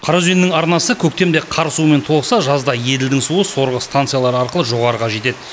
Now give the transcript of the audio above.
қараөзеннің арнасы көктемде қар суымен толықса жазда еділдің суы сорғы стансалары арқылы жоғарыға жетеді